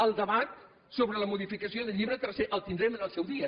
el debat sobre la modificació del llibre tercer el tindrem en el seu dia